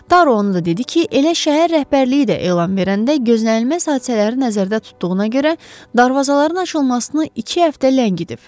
Daro onu da dedi ki, elə şəhər rəhbərliyi də elan verəndə gözlənilməz hadisələri nəzərdə tutduğuna görə darvazaların açılmasını iki həftə ləngidib.